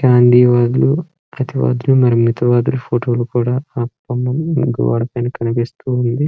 గాంధీ వాదులు ప్రతి వాదులు మరి మిత వాదులు ఫొటో లు కూడా అక్కడున్న గోడ పైన కనిపిస్తూ ఉన్నవి.